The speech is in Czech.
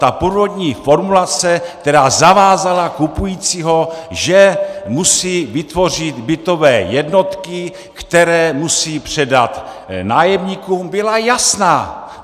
Ta původní formulace, která zavázala kupujícího, že musí vytvořit bytové jednotky, které musí předat nájemníkům, byla jasná.